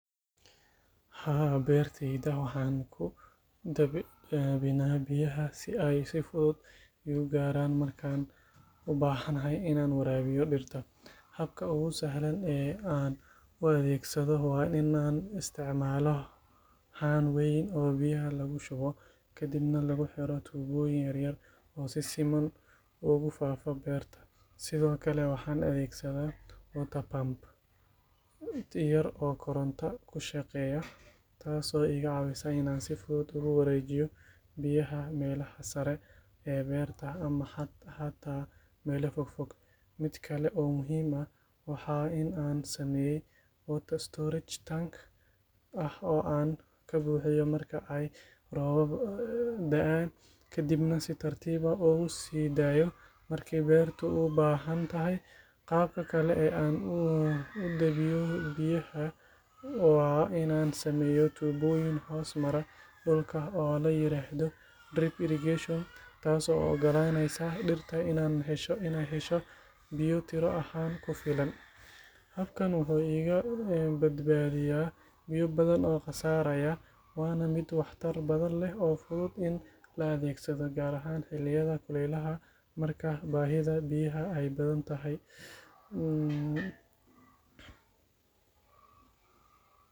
Haa, beertayda waxaan ku dabinaa biyaha si ay si fudud iigu gaaraan markaan u baahanahay inaan waraabiyo dhirta. Habka ugu sahlan ee aan u adeegsado waa in aan isticmaalo haan weyn oo biyaha lagu shubo kadibna lagu xiro tuubooyin yar yar oo si siman ugu faafa beerta. Sidoo kale waxaan adeegsadaa water pump yar oo koronto ku shaqeysa taas oo iga caawisa in aan si fudud ugu wareejiyo biyaha meelaha sare ee beerta ama xataa meelo fog fog. Mid kale oo muhiim ah waa in aan sameeyay water storage tank ah oo aan ka buuxiyo marka ay roobab da’aan, kadibna si tartiib ah ugu sii daayo marka beertu u baahan tahay. Qaabka kale ee aan u dabiyo waa in aan sameeyo tuubooyin hoos mara dhulka oo la yiraahdo drip irrigation, taasoo u ogolaanaysa dhirta in ay hesho biyo tiro ahaan ku filan. Habkan wuxuu iga badbaadiyaa biyo badan oo khasaaraya, waana mid waxtar badan leh oo fudud in la adeegsado, gaar ahaan xilliyada kulaylaha marka baahida biyaha ay badan tahay.